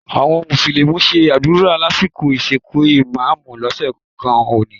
Àwọn mùsùlùmí ṣe àdúrà lásìkò ìsìnkú ìmá́àmù lọ́sàn-án òní